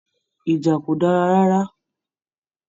Ìjà kò dára rárá.